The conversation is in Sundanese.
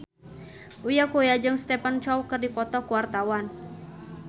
Uya Kuya jeung Stephen Chow keur dipoto ku wartawan